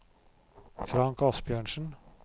Frank Asbjørnsen